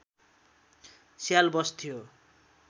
स्याल बस्थ्यो